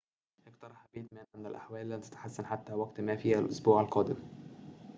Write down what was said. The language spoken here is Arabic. اقترح بيتمان أن الأحوال لن تتحسن حتى وقتٍ ما في الأسبوع القادم